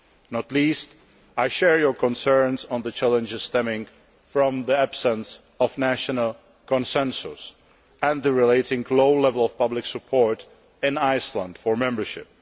Not least, I share your concerns on the challenges stemming from the absence of national consensus and the related low level of public support in Iceland for membership.